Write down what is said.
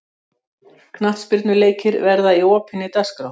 Knattspyrnuleikir verði í opinni dagskrá